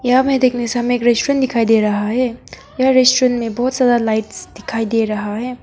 यहां में देखने से हमे एक रेस्टुरेंट दिखाई दे रहा है यहा रेस्टोरेंट में बहुत सारा लाइट्स दिखाई दे रहा है।